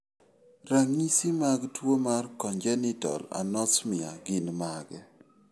Ranyisi mag tuwo mar congenital anosmia gin mage?